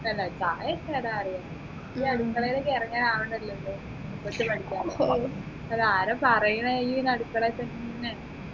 അല്ല ചായയൊക്കെ ഇടാൻ അറിയാം അടുക്കളയിൽ ഇറങ്ങാൻ ആവുന്നെല്ലേ ഉള്ളു പഠിക്കാല്ലോ അതാരാ പറയുന്നെന്ന് പിന്നെ അടുക്കളയിൽ തന്നെ